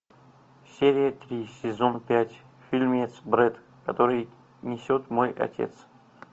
серия три сезон пять фильмец бред который несет мой отец